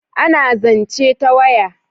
A na zance ta waya